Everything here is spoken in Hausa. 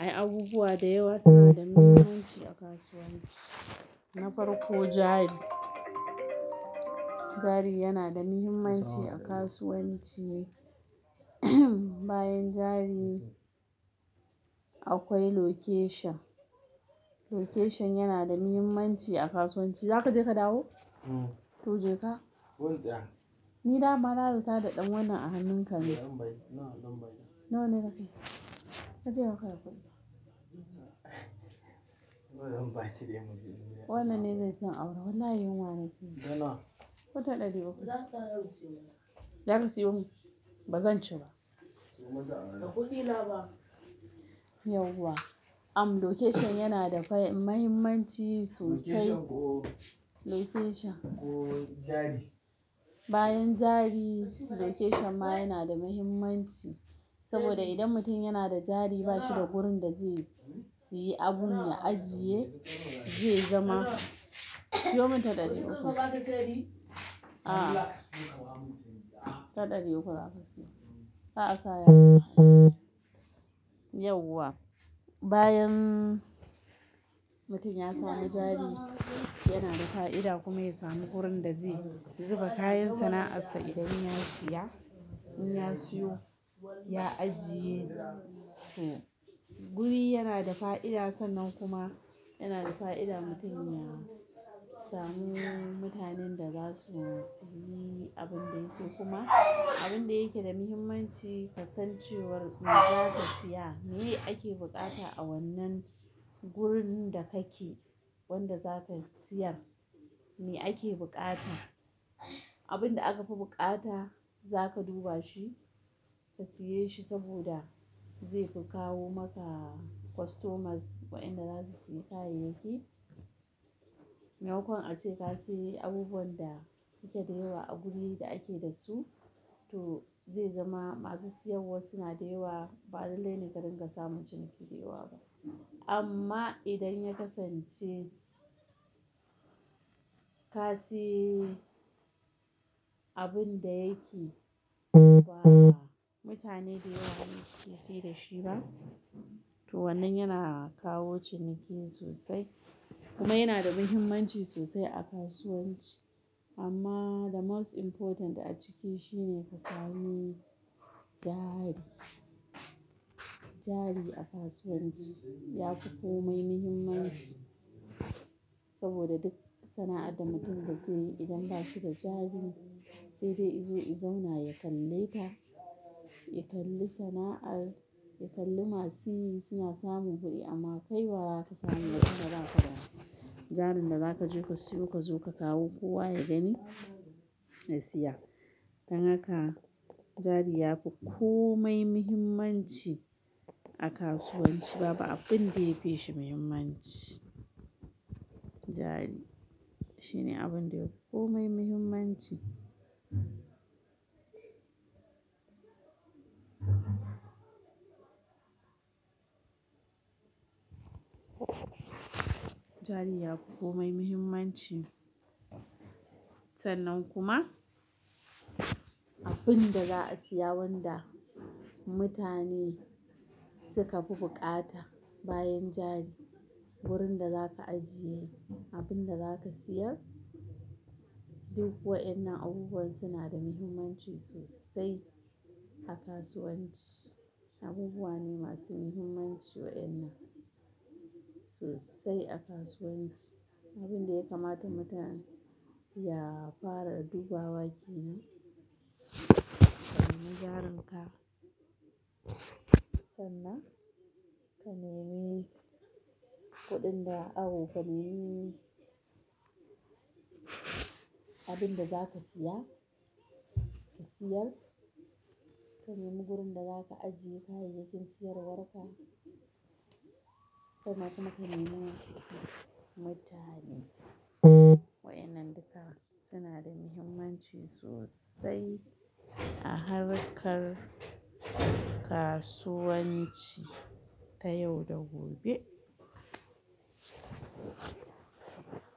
Ai abubuwa da yawa suna da muhimmanci a kasuwanci. Na farko jari, jari yana da muhimmanci a kasuwanci. Bayan jari akwai location, location yana da muhimmanci a kasuwanci. Za ka je ka dawo? Uhm. To je ka. Wance? Ni na maralanta da ɗan wannan a hannunka ne. Nawa zan bayar? Nawa ne ka kai? Kace baka da kuɗin. Wannan ne zaisiyon, awara wallahi yinwa nakeji, nanawa? Ko ɗari uku. Za ka siyo min? Za ka siyo min? Ba zan ci ba. To maza Ba da kuɗina fa. Yau wa? Location yana da fah-- muhimmanci sosai. Location ko Location. Ko jari? Bayan jari, location ma yana da muhimmanci. Saboda idan mutum yana da jari bashi da wurin da zai siyi abun ya ajiye, zai zama Siyo min ɗari uku. A a. Ta Ɗari uku za ka siyo. Kar asa yaji Yau wa? Bayan mutum ya sami jari, yana da fa'ida kuma ya sami wurin da zai zuba kayan sana'arsa idan ya siya, in ya siyo ya ajiye. To, guri yana da fa'ida sannan kuma yana da fa'ida mutum ya samu mutanen da za su siyi abin da ya siyo kuma abin da yake da muhimmanci kasancewar me za ka siya, me ake bukata a wannan gurin da kake wanda zaka siyar, me ake bukata. Abin da aka fi bukata za ka duba shi, ka siye shi saboda zaifi kawo maka customers waɗanda za su sayi kayayyaki. Me makon ace ka sayo abubuwan da suke da yawa a guri da ake da su, to zai zama masu siyarwa suna da yawa, balalaine ka dinga samun ciniki da yawa ba. Amma idan ya kasance ka saye abun da yake kowa, mutane da yawa basu iya saye da shi ba, to wannan yana kawo ciniki sosai. Kuma yana da muhimmanci sosai a kasuwanci. Amma the most important a ciki shine ka sami jari. Jari a kasuwanci ya fi komai muhimmanci saboda duk sana'ar da mutum zai yi idan ba shi da jari sai dai izu izona ya kalle ta, ya kalli sana'ar, ya kalli masu yi suna samun kuɗi amma kai wa zaka samu idan baza ka da jarin da zaka je ka siyo ka zo ka kawo kowa ya gani ya siya. Dan haka jari yafi komai muhimmanci a kasuwanci. Babu abin da ya fi shi muhimmanci. Jari shine abun da ya fi komai muhimmanci. Jari ya fi komai muhimmanci. Sannan kuma abin da za a siya wanda mutane suka fi bukata bayan jari, wurin da zaka ajiye abin da zaka siyar. Duk wa'innan abubuwa suna da muhimmanci sosai a kasuwanci. Abubuwa ne masu muhimmanci wa'innan sosai a kasuwanci. Abin da ya kamata mutum ya fara a duba wa ke ne, samu jarin ka. Sannan ka nemi kuɗin da awo ka nemi abin da zaka siya, ka siyar. Ka nemi gurin da zaka ajiye kayayyakin siyarwar ka. Kuma kuma ka nemi mutane. Wa'innan duka suna da muhimmanci sosai a harkar kasuwanci ta yau da gobe.